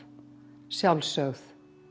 sjálfsögð